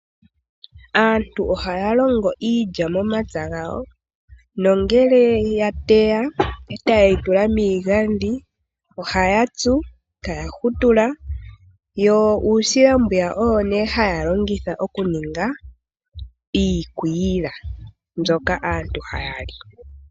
Aantu ohaya longo iilya momapya gawo, nongele ya teya etaye yi tula miigandhi ohaya tsu, eta ya hutula yo uusila mbwiya oyo nee haya longitha oku ninga iikwila mbyoka aantu haya li.